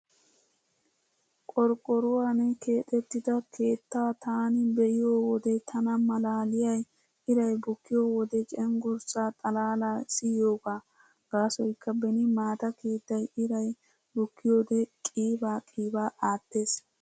Qorqqoruwaani keexettida keettaa taani be'iyo wode tana malaaliyay iray bukkiyo wode cenggurssaa xalaalaa siyiyoogaa. Gaasoykka beni maata keettay iray bukkiyoode qiibaa qiibaa aattees.